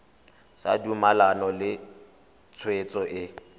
sa dumalane le tshwetso e